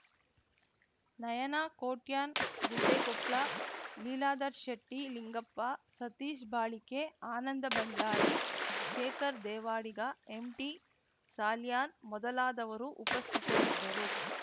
Nayana Kotian Guddekopla Leeladhar Shetty Lingappa Satish Balike Ananda Bhandari Shekhar Devadiga M T Salian ಮೊದಲಾದವರು ಉಪಸ್ಥಿತರಿದ್ದರು